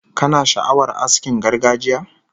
Kana sha'awar askin gargajiya?